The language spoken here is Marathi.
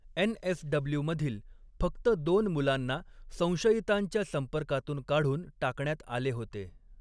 एन.एस.डबल्यू. मधील फक्त दोन मुलांना संशयितांच्या संपर्कातून काढून टाकण्यात आले होते.